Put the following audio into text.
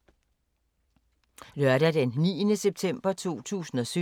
Lørdag d. 9. september 2017